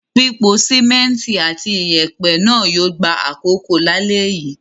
Pípo sìmẹ́ńtì àti ìyẹ̀pẹ̀ náà yóò gba àkókò lálẹ́ yìí.